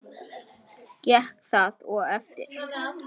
Gekk það og eftir.